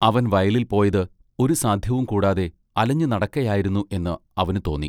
അവൻ വയലിൽ പോയത് ഒരു സാദ്ധ്യവും കൂടാതെ അലഞ്ഞ് നടക്കയായിരുന്നു എന്ന് അവന് തോന്നി.